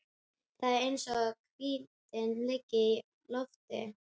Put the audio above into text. Það er eins og hvíldin liggi í loftinu.